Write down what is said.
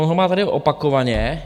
On ho má tady opakovaně.